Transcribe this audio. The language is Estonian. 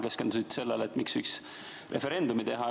Keskendusite sellele, miks võiks referendumi teha.